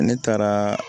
Ne taara